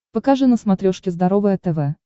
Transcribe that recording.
покажи на смотрешке здоровое тв